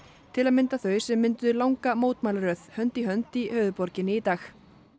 til að mynda þau sem mynduðu langa mótmælaröð hönd í hönd í höfuðborginni í dag